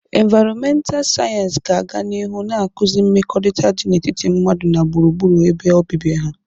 Invaịrọmental sayensị ga-aga n'ihu na-akụzi mmekọrịta dị n'etiti mmadụ na gburugburu ebe obibi ha.